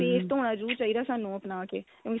face ਧੋਣਾ ਜਰੂਰ ਚਾਹਿਦਾ ਸਾਨੂੰ ਆਪਣਾ ਕੇ ਉਹੀ